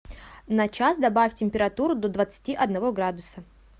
на час добавь температуру до двадцати одного градуса